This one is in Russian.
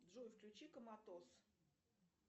джой включи коматоз